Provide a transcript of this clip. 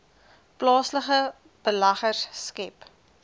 plaaslike beleggers skep